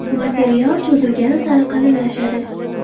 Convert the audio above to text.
Material cho‘zilgani sari qalinlashadi.